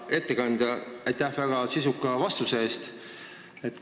Hea ettekandja, aitäh väga sisuka vastuse eest!